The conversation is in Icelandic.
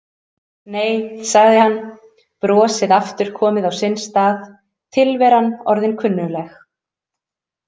Nei, sagði hann, brosið aftur komið á sinn stað, tilveran orðin kunnugleg.